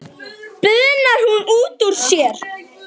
bunar hún út úr sér.